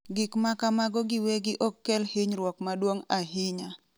Gik ma kamago giwegi ok kel hinyruok maduong’ ahinya.